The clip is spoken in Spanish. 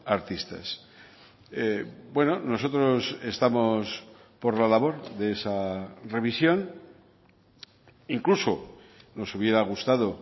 artistas bueno nosotros estamos por la labor de esa revisión incluso nos hubiera gustado